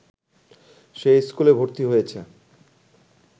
সে স্কুলে ভর্তি হয়েছে